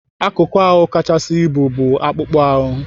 Akụkụ ahụ kachasị ibu bụ akpụkpọ ahụ.